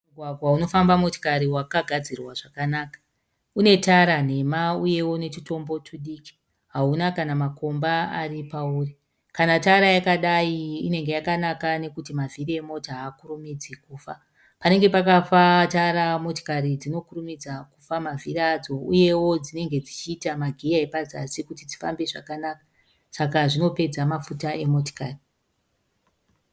Mugwagwa unofamba motikari wakagadzirwa zvakanaka. Unetara nhema uyewo netumbo tudiki hauna kana makomba ari pauri. Kana tara yakadai inenge yakanaka nekuti mavhiri emotikari haakurumidzi kufa. Panenge pakafa tara motikari dzinokurumidza kufa mavhiri uyewo dzinenge dzichita magiya epazasi kuti dzifambe zvakanaka saka zvinopedza mafuta emotikari.